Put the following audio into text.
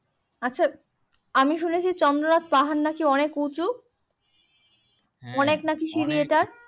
আচ্ছা আমি শুনেছি চন্দ্রনাথ পাহাড় নাকি অনেক উঁচু